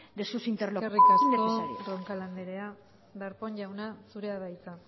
de sus interlocuciones innecesarias eskerrik asko roncal andrea darpón jauna zurea da hitza